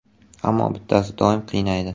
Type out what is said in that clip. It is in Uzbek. Ammo bittasi doim qiynaydi.